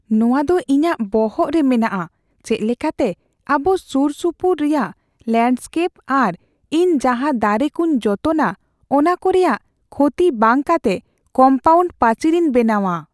ᱱᱚᱶᱟ ᱫᱚ ᱤᱧᱟᱹᱜ ᱵᱚᱦᱚᱜ ᱨᱮ ᱢᱮᱱᱟᱜᱼᱟ ᱪᱮᱫ ᱞᱮᱠᱟᱛᱮ ᱟᱵᱚ ᱥᱩᱨᱥᱩᱯᱩᱨ ᱨᱮᱭᱟᱜ ᱞᱮᱱᱰᱥᱠᱮᱯ ᱟᱨ ᱤᱧ ᱡᱟᱦᱟᱸ ᱫᱟᱨᱮ ᱠᱚᱧ ᱡᱚᱛᱚᱱᱼᱟ ᱚᱱᱟ ᱠᱚ ᱨᱮᱭᱟᱜ ᱠᱷᱚᱛᱤ ᱵᱟᱝ ᱠᱟᱛᱮ ᱠᱚᱢᱯᱟᱣᱩᱱᱰ ᱯᱟᱹᱪᱤᱨ ᱤᱧ ᱵᱮᱱᱟᱣᱼᱟ ᱾